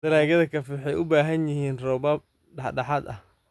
Dalagyada kafee waxay u baahan yihiin roobab dhexdhexaad ah.